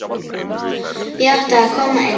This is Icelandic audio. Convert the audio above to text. Ég átti að koma inn!